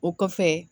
O kɔfɛ